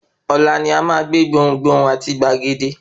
Ọ̀la ni a máa gbé gbohùn gbohùn àti gbàgede.